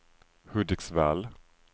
Hudiksvall